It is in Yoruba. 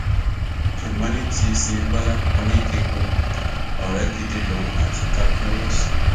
ṣùgbọn ní ti síyáńbọlá oníkẹẹpó ọrẹ gidi lòun àti captain ross